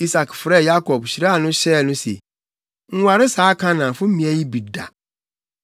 Isak frɛɛ Yakob, hyiraa no hyɛɛ no se, “Nware saa Kanaanfo mmea yi bi da.